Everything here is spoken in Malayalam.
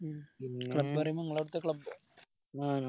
club പറയുമ്പോ ഇങ്ങളെ ആടത്തെ club ഒ